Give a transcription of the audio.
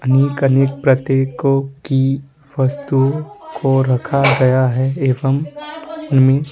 अनेक-अनेक प्रतीकों कि वस्तुओं को रखा गया है एवं उनमें --